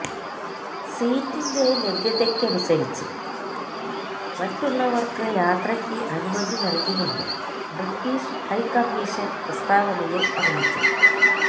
സീറ്റിന്റെ ലഭ്യതയ്ക്കനുസരിച്ച് മറ്റുള്ളവര്ക്ക് യാത്രയ്ക്ക് അനുമതി നല്കുമെന്ന് ബ്രിട്ടീഷ് ഹൈക്കമ്മീഷന് പ്രസ്താവനയില് അറിയിച്ചു